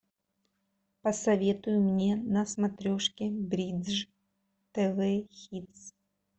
посоветуй мне на смотрешке бридж тв хитс